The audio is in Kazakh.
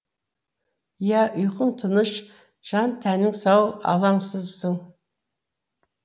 иә ұйқың тыныш жан тәнің сау алаңсызсың